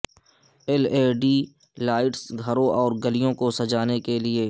L E D lights گھروں اور گلیوں کو سجانے کے لئے